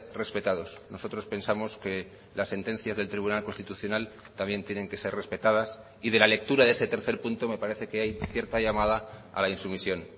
respetados nosotros pensamos que las sentencias del tribunal constitucional también tienen que ser respetadas y de la lectura de ese tercer punto me parece que hay cierta llamada a la insumisión